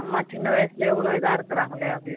நம்ம சின்ன வயசுலேயே இவ்வளவு இதா இருக்குறாங்களே அப்படி